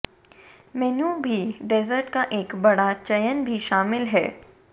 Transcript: मेनू भी डेसर्ट का एक बड़ा चयन भी शामिल है